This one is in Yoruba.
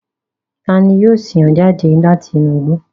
Tani yio sin o jade lati inu igbo?